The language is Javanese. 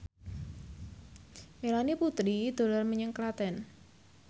Melanie Putri dolan menyang Klaten